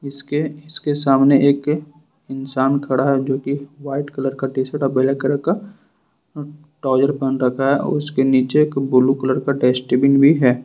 इसके इसके सामने एक इंसान खड़ा है जो की वाइट कलर का टी शर्ट और ब्लैक कलर का ट्राउजर पहन रखा है और उसके नीचे एक ब्लू कलर का डस्टबिन भी है।